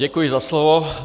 Děkuji za slovo.